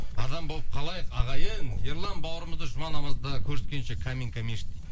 адам болып қалайық ағайын ерлан баурымызды жұма намазда көріскенше каминка мешіті дейді